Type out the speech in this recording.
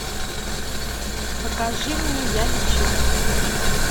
покажи мне я лечу